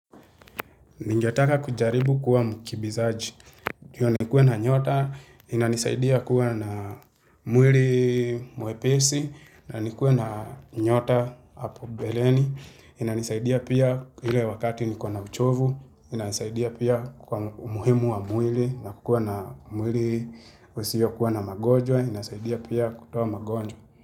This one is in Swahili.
Ningetaka kujaribu kuwa mkimbizaji. Ndo nikue na nyota, inanisaidia kuwa na mwili mwepesi, na nikue na nyota hapo mbeleni. Inanisaidia pia hile wakati niko na uchovu, inanisaidia pia kwa umuhimu wa mwili, nakuwa na mwili usiyo kuwa na magonjwa, inasaidia pia kutoa magonjwa.